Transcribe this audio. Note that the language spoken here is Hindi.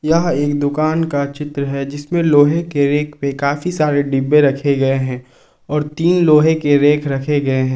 यह एक दुकान का चित्र है जिसमें लोहे की रेक में काफी सारे डिब्बे रखे गए हैं और थीं लोहे की रेक रखे गए हैं।